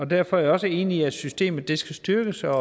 derfor er jeg også enig i at systemet skal styrkes og